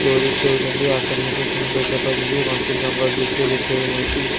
ଦୋଳି ଖେଳୁଚନ୍ତି ଆକାଶ କେତେ ସୁନ୍ଦର ସଫା ଦିଶୁଚି ଘଞ୍ଚ ଜଙ୍ଗଲ ଦୃଶ୍ୟ ଦେଖିବାକୁ ମିଳୁଚି।